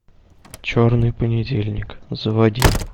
черный понедельник заводи